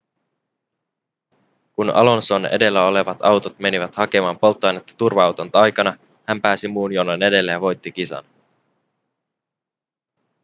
kun alonson edellä olevat autot menivät hakemaan polttoainetta turva-auton aikana hän pääsi muun jonon edelle ja voitti kisan